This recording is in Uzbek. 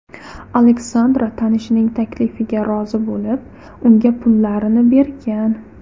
Aleksandra tanishining taklifiga rozi bo‘lib, unga pullarni bergan.